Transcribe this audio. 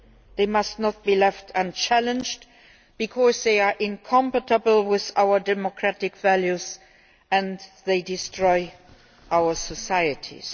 They must not be left unchallenged, because they are incompatible with our democratic values and they destroy our societies.